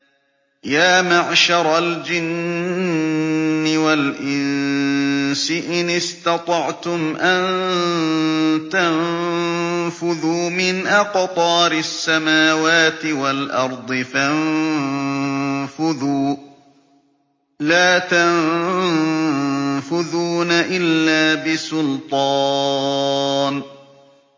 يَا مَعْشَرَ الْجِنِّ وَالْإِنسِ إِنِ اسْتَطَعْتُمْ أَن تَنفُذُوا مِنْ أَقْطَارِ السَّمَاوَاتِ وَالْأَرْضِ فَانفُذُوا ۚ لَا تَنفُذُونَ إِلَّا بِسُلْطَانٍ